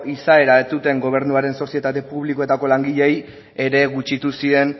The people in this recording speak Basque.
izaera ez zuten gobernuaren sozietate publikoetako langileei ere gutxitu zien